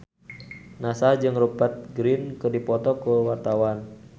Nassar jeung Rupert Grin keur dipoto ku wartawan